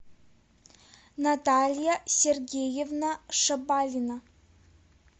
наталья сергеевна шабалина